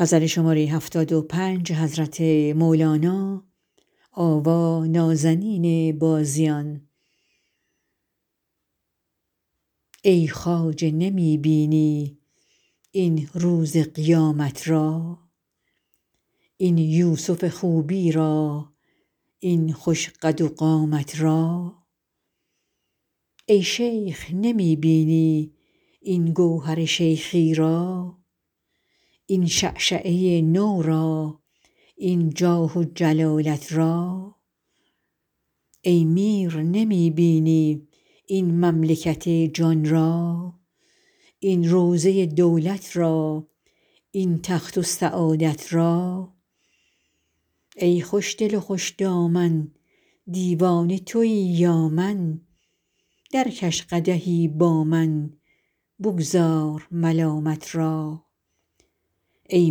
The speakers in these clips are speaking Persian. ای خواجه نمی بینی این روز قیامت را این یوسف خوبی را این خوش قد و قامت را ای شیخ نمی بینی این گوهر شیخی را این شعشعه نو را این جاه و جلالت را ای میر نمی بینی این مملکت جان را این روضه دولت را این تخت و سعادت را ای خوشدل و خوش دامن دیوانه توی یا من درکش قدحی با من بگذار ملامت را ای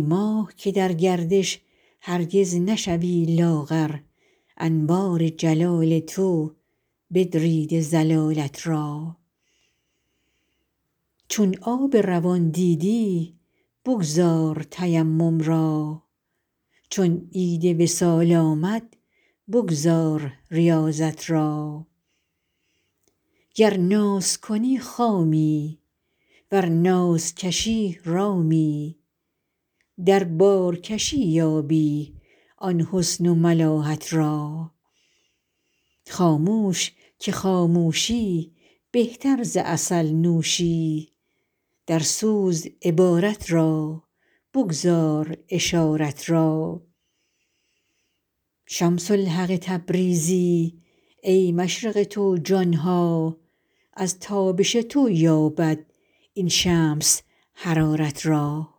ماه که در گردش هرگز نشوی لاغر انوار جلال تو بدریده ضلالت را چون آب روان دیدی بگذار تیمم را چون عید وصال آمد بگذار ریاضت را گر ناز کنی خامی ور ناز کشی رامی در بارکشی یابی آن حسن و ملاحت را خاموش که خاموشی بهتر ز عسل نوشی درسوز عبارت را بگذار اشارت را شمس الحق تبریزی ای مشرق تو جان ها از تابش تو یابد این شمس حرارت را